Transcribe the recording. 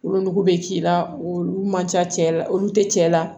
Wolonugu bɛ k'i la olu man ca cɛ la olu tɛ cɛ la